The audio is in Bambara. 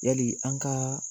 Yali an ka